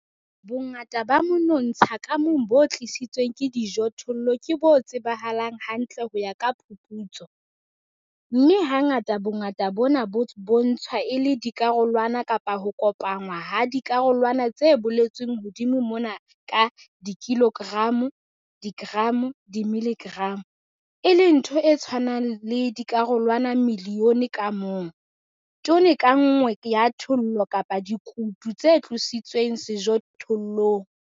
Bongata ba monontsha ka mong bo tlositsweng ke dijothollo ke bo tsebahalang hantle ho ya ka phuputso, mme hangata bongata bona bo bontshwa e le dikarolwana kapa ho kopanngwa ha dikarolwana tse boletsweng hodimo mona ka dikilogramo, digramo, dimiligramo, e leng ntho e tshwanang le dikarolwana milione ka mong, tone ka nngwe ya thollo kapa dikutu tse tlositsweng sejothollong.